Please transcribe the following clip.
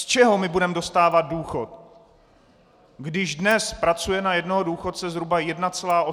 Z čeho budeme dostávat důchod, když dnes pracuje na jednoho důchodce zhruba 1,8 pracujícího?